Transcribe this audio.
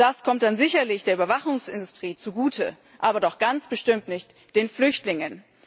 Das kommt dann sicherlich der Überwachungsindustrie zugute, aber doch ganz bestimmt nicht den Flüchtlingen.